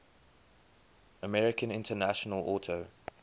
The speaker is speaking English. american international auto